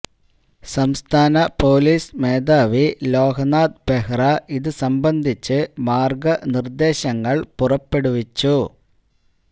സംസ്ഥാന പോലീസ് മേധാവി ലോകനാഥ് ബെഹ്റ ഇത് സംബന്ധിച്ച് മാര്ഗനിര്ദേശങ്ങള് പുറപ്പെടുവിച്ചു